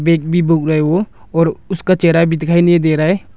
वो और उसका चेहरा भी दिखाई नहीं दे रहा है।